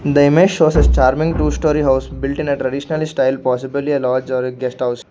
the image shows a charming two storey house built in a traditional style possibly a lodge or a guest house.